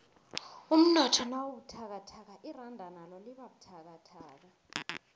umnotho nawubuthakathaka iranda nalo libabuthakathaka